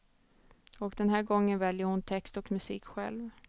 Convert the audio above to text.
Och den här gången väljer hon text och musik själv.